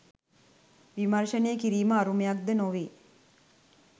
විමර්ශනය කිරීම අරුමයක් ද නොවේ